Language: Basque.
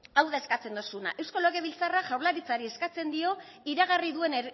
hau da eskatzen dozuna eusko legebiltzarrak jaurlaritzari eskatzen dio iragarri duen